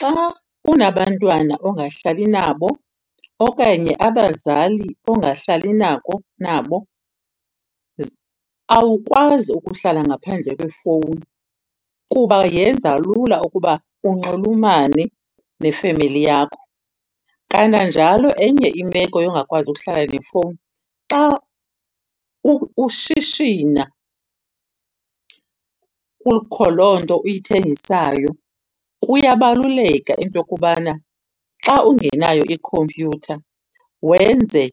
Xa unabantwana ongahlalli nabo okanye abazali ongahlalli nako nabo, awukwazi ukuhlala ngaphandle kwefowuni kuba yenza lula ukuba unxulumane nefemeli yakho. Kananjalo enye imeko yongakwazi ukuhlala nefowuni xa ushishina kukho loo nto uyithengisayo kuyabaluleka into yokubana xa ungenayo ikhompyutha wenze